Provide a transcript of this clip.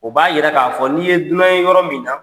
O b'a yira k'a fɔ n'i ye dunan ye yɔrɔ min na